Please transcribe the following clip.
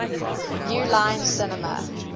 new line cinema